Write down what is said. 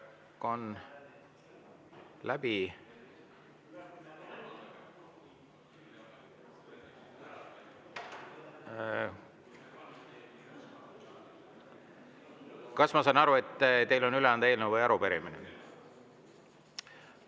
Kas ma saan aru, et teil on üle anda eelnõu või arupärimine?